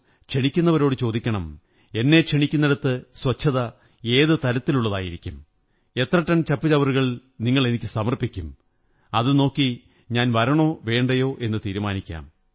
ക്ഷണിക്കുന്നവരോടു ചോദിക്കണം എന്നെ ക്ഷണിക്കുന്നിടത്ത് സ്വച്ഛത ഏതു തലത്തിലുള്ളതായിരിക്കും എത്ര ടൺ ചപ്പുചവറുകൾ നിങ്ങളെനിക്കു സമര്പ്പിചക്കും അതു നോക്കി ഞാൻ വരണോ വേണ്ടയോ എന്നു തീരുമാനിക്കാം